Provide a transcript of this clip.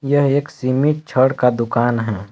यह एक सीमिट छड़ का दुकान है।